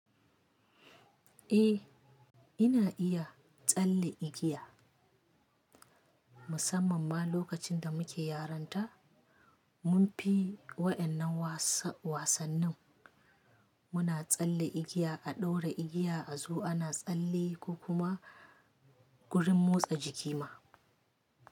Eh, ina iya tsalle igiya. Musamman ma lokacin da muke yaranta, mun fi waƴannan wasa wasannin. Muna tsalle igiya, a ɗaura igiya a zu ana tsalle ko kuma gurin motsa jiki ma.